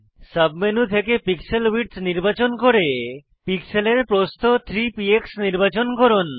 sub menu থেকে pixel width নির্বাচন করে পিক্সেলের প্রস্থ 3 পিএক্স নির্বাচন করুন